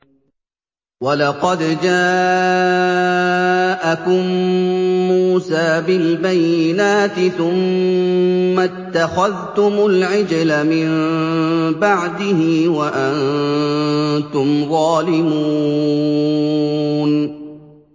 ۞ وَلَقَدْ جَاءَكُم مُّوسَىٰ بِالْبَيِّنَاتِ ثُمَّ اتَّخَذْتُمُ الْعِجْلَ مِن بَعْدِهِ وَأَنتُمْ ظَالِمُونَ